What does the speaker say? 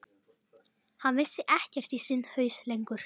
Hann vissi ekkert í sinn haus lengur.